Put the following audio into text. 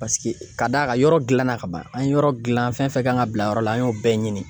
Paseke ka da kan yɔrɔ gilanna ka ban an ye yɔrɔ gilan fɛn fɛn kan ka bila yɔrɔ la, an y'o bɛɛ ɲini